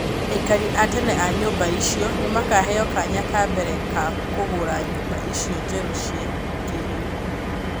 Aikari a tene a nyũmba icio nĩo makaheo kanya ka mbere ka kũgũra nyũmba icio njerũ cia kĩrĩu.